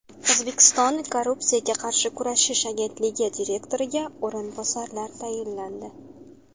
O‘zbekiston Korrupsiyaga qarshi kurashish agentligi direktoriga o‘rinbosarlar tayinlandi.